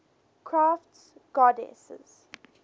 crafts goddesses